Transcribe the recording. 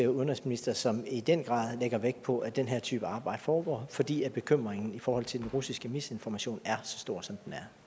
udenrigsminister som i den grad lægger vægt på at den her type arbejde foregår fordi bekymringen i forhold til den russiske misinformation er så stor som